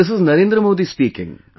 This is Narendra Modi speaking